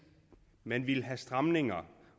man vil have stramninger